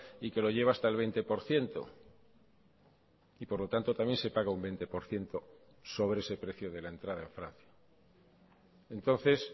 y que lo lleva hasta el veinte por ciento y por lo tanto también se paga un veinte por ciento sobre ese precio de la entrada en francia entonces